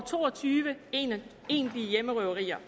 to og tyve egentlige hjemmerøverier